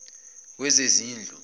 wezezindlu